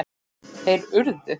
Þeir urðu!